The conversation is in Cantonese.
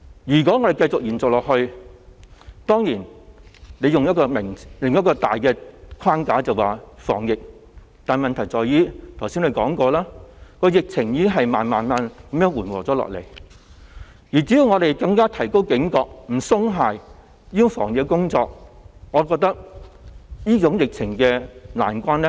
如果限聚令繼續延長下去......當然，政府可以以防疫為名這樣做，但問題在於——我剛才已提到——疫情已慢慢緩和，只要我們更加提高警覺、不鬆懈防疫工作，我認為我們可以渡過這個疫情難關。